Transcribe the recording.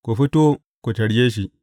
Ku fito, ku tarye shi!’